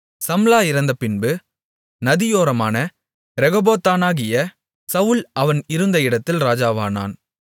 சம்லா இறந்தபின்பு நதியோரமான ரெகொபோத்தானாகிய சவுல் அவன் இருந்த இடத்தில் இராஜாவானான்